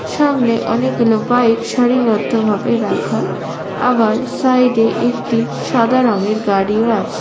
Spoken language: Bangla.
সামনে অনেক বাইক সারি বদ্ধ ভাবে রাখা। আবার সাইডে একটি সাদা রঙের গাড়ি ও আছে।